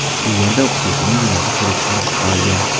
U yerda o‘qituvchining yuragi xuruj qilib qolgan.